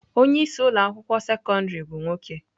Onye isi ụlọ akwụkwọ sekọndrị bụ nwoke.